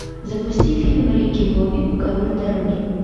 запусти фильм рики бобби король дороги